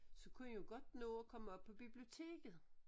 Så kunne I jo godt nå at komme op på biblioteket